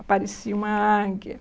Aparecia uma águia